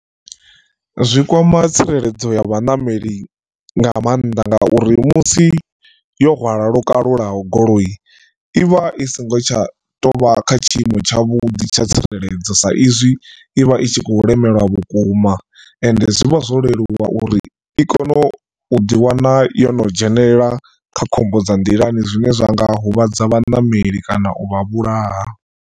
Zwi kwama tsireledzo ya vhaṋameli nga maanḓa nga uri musi yo hwala lokalulaho goloi i vha i songo tsha tou vha kha tshiimo tsha vhuḓi tsha tsireledzo sa izwi ivha i tshi khou lemelwa vhukuma ende zwi vha zwo leluwa uri i kone u ḓi wana yo no dzhenelela kha khombo dza nḓilani zwine zwa nga huvhadza vhaṋameli kana u vha vhulaha.